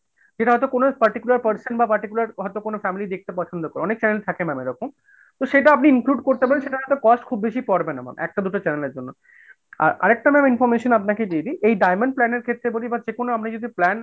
সেটা হয়তো কোন particular person বা particular হয়তো কোন family দেখতে পছন্দ করে, অনেক channel ma'am থাকে ঐরকম তো সেটা আপনি include করতে পারেন সেটার cost খুববেশি পরবে না ma'am, একটা দুইটা channel এর জন্য আর আরেকটা ma'am information আপনাকে দিয়ে দিয় এই diamond plan এর ক্ষেত্রে যদি বলি বা যেকোনো আপনি যদি plan,